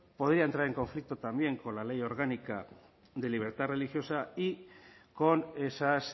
podría entrar en conflicto también con la ley orgánica de libertad religiosa y con esas